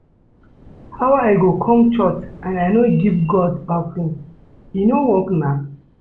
How I go come church and I no go give God offering, e no work na